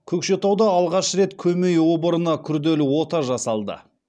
көкшетауда алғаш рет көмей обырына күрделі ота жасалды